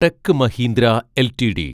tech Mahindra LTD